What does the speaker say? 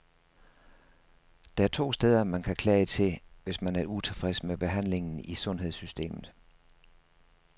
Der er to steder, man kan klage til, hvis man er utilfreds med behandlingen i sundhedssystemet.